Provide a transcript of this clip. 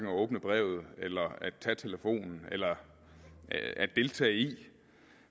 åbne brevet eller tage telefonen eller deltage i det